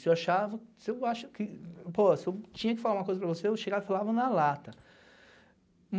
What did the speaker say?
Se eu achava, se eu tinha que falar uma coisa para você, eu chegava e falava na lata.